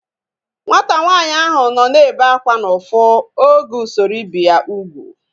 Nwata nwaanyị ahu nọ na-ebe akwa n'ufu oge usoro ibi ya ugwu